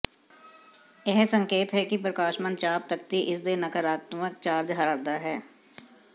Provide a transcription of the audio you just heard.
ਇਹ ਸੰਕੇਤ ਹੈ ਕਿ ਪ੍ਰਕਾਸ਼ਮਾਨ ਚਾਪ ਤਖ਼ਤੀ ਇਸ ਦੇ ਨਕਾਰਾਤਮਕ ਚਾਰਜ ਹਾਰਦਾ ਹੈ